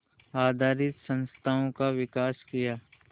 आधारित संस्थाओं का विकास किया